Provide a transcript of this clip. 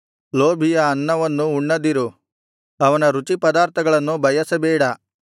ಲೋಭಿಯ ಅನ್ನವನ್ನು ಉಣ್ಣದಿರು ಅವನ ರುಚಿಪದಾರ್ಥಗಳನ್ನು ಬಯಸಬೇಡ